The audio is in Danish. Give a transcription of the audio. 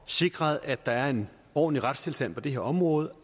sikret at der er en ordentlig retstilstand på det her område